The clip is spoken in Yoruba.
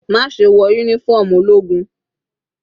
Má ṣe wọ uniform ológun.